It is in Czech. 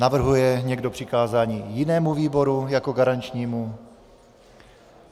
Navrhuje někdo přikázání jinému výboru jako garančnímu?